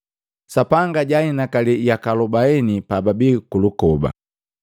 Sapanga jaainakali yaka alubaini pababi kulukoba.